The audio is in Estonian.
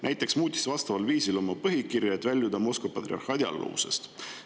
Näiteks muutis ta vastaval viisil oma põhikirja, et väljuda Moskva patriarhaadi alluvusest.